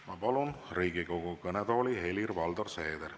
Ma palun Riigikogu kõnetooli Helir-Valdor Seederi.